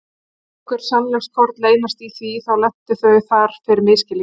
Ef einhver sannleikskorn leynast í því, þá lentu þau þar fyrir misskilning.